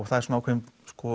það er ákveðin